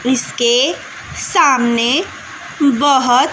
इसके सामने बहोत--